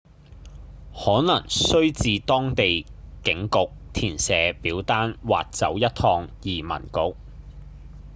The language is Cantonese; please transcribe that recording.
可能須至當地警局填寫表單或走一趟移民局